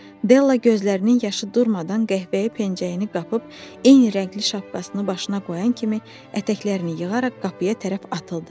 Della gözlərinin yaşı durmadan qəhvəyi pencəyini qapıb eyni rəngli şapkasını başına qoyan kimi ətəklərini yığaraq qapıya tərəf atıldı.